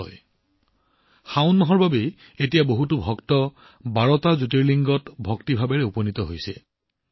আজিকালি শাওনৰ বাবেই বহু ভক্তই ১২টা জ্যোতিৰ্লিংগত উপস্থিত হয়